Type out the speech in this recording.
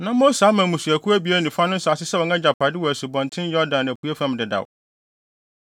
Na Mose ama mmusuakuw abien ne fa no nsase sɛ wɔn agyapade wɔ Asubɔnten Yordan apuei fam dedaw.